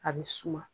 A bɛ suma